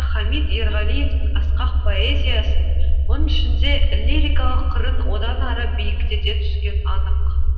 хамит ерғалиевтің асқақ поэзиясын оның ішінде лирикалық қырын одан ары биіктете түскені анық